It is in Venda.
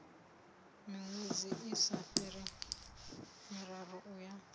miṅwedzi isa fhiri miraru uya